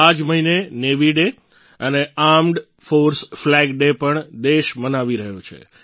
આ જ મહિને નેવી ડે અને આર્મ્ડ ફોર્સ ફ્લેગ ડે પણ દેશ મનાવી રહ્યો છે